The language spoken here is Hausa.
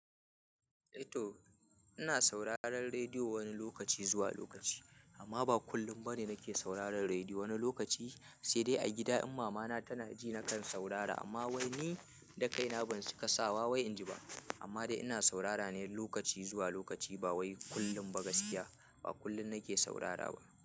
E to ina sauraron rediyo wani lokaci zuwa lokaci amma ba kullum ba ne nake sauraron rediyo wani lokaci sai dai a gida in mama na tana ji na kan saurara amma wai ni da kaina ban cika sawa wai in ji ba amma dai ina saurara ne lokaci zuwa lokaci ba wai kullum ba gaskiya ba kullum nake saurara ba.